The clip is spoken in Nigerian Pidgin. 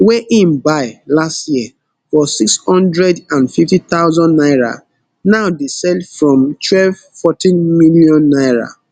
wey im buy last year for six hundred and fifty thousand naira now dey sell from twelve fourteen million naira